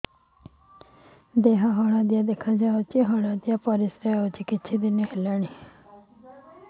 ଦେହ ହଳଦିଆ ଦେଖାଯାଉଛି ହଳଦିଆ ପରିଶ୍ରା ହେଉଛି କିଛିଦିନ ହେଲାଣି